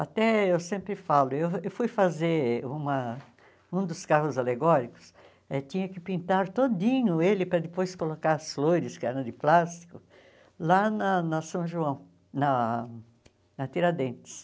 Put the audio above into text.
Até eu sempre falo, eu eu fui fazer uma um dos carros alegóricos, eh tinha que pintar todinho ele para depois colocar as flores, que eram de plástico, lá na na São João, na na Tiradentes.